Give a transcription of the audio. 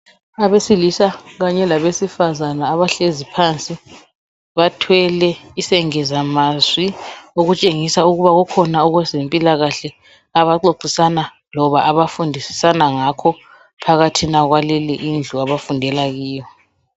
Abesilisa kanye labesifazana abahlezi phansi bathwele isengezamazwi okutshengisa ukuba ukhona owezempilakahle abaxoxisana loba abafundisisana ngakho phakathi kwaleyo indlu abafundewla kiyo.